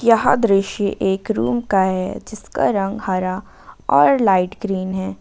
यहां दृश्य एक रूम का है जिसका रंग हरा और लाइट ग्रीन है।